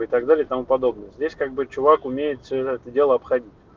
и так далее и тому подобное здесь как бы чувак умеет все это дело